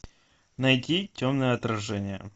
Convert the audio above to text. найти темное отражение